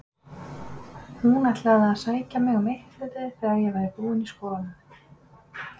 Hún ætlaði að sækja mig um eittleytið þegar ég væri búin í skólanum.